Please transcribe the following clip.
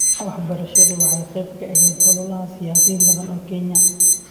Waxbarashadu waxay qayb ka ahayd ololaha siyaasiyiin badan oo Kenya.